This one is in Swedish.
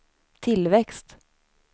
tillväxt